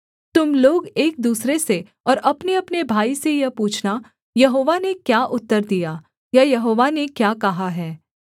तुम लोग एक दूसरे से और अपनेअपने भाई से यह पूछना यहोवा ने क्या उत्तर दिया या यहोवा ने क्या कहा है